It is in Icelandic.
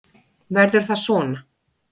Verður það svona?